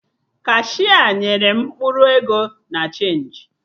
Kashia nyere m mkpụrụ ego na chenji